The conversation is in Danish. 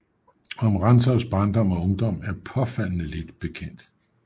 Om Rantzaus barndom og ungdom er påfaldende lidt bekendt